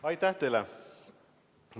Aitäh teile!